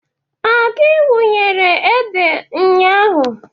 Ọ gị wunyere ede nnya ahụ?